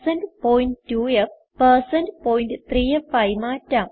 point 2f160 point 3ഫ് ആയി മാറ്റാം